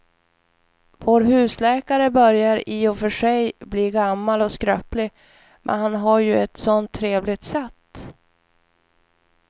Vår husläkare börjar i och för sig bli gammal och skröplig, men han har ju ett sådant trevligt sätt!